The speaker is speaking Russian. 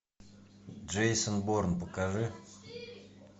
джейсон борн покажи